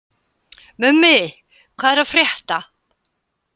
Mummi, hvað er að frétta?